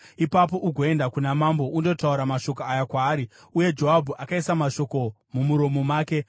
Ipapo ugoenda kuna mambo undotaura mashoko aya kwaari.” Uye Joabhu akaisa mashoko mumuromo make.